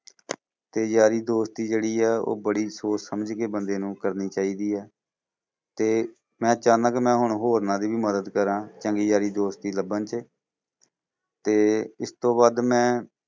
ਤੇ ਯਾਰੀ ਦੋਸਤੀ ਜਿਹੜੀ ਆ ਉਹ ਬੜੀ ਸੋਚ ਸਮਝ ਕੇ ਬੰਦੇ ਨੂੰ ਕਰਨੀ ਚਾਹੀਦੀ ਹੈ ਤੇ ਮੈਂ ਚੁਹੰਦਾ ਹਾਂ ਕਿ ਮੈਂ ਹੁਣ ਹੋਰਨਾਂ ਦੀ ਵੀ ਮਦਦ ਕਰਾਂ ਚੰਗੀ ਯਾਰੀ ਦੋਸਤੀ ਲੱਭਣ ਚ ਤੇ ਇਸ ਤੋਂ ਵੱਧ ਮੈਂ